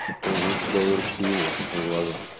что лучше довериться его глазам